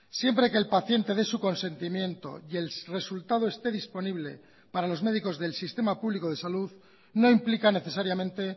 siempre que el paciente dé su consentimiento y el resultado esté disponible para los médicos del sistema público de salud no implican necesariamente